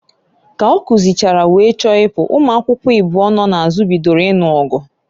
Ka ọ kuzichara, wee chọọ ịpụ, ụmụakwukwo ịbụọ nọ n'azụ bidoro ịnụ ọgụ.